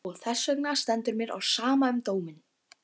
Og þessvegna stendur mér á sama um dóminn.